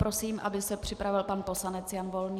Prosím, aby se připravil pan poslanec Jan Volný.